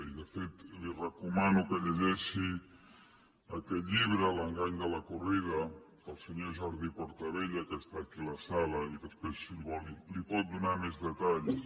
i de fet li recomano que llegeixi aquest llibre l’engany de la corrida del senyor jordi portabella que és aquí a la sala i després si ho vol n’hi pot donar més detalls